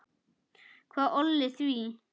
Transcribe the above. Hvað olli því?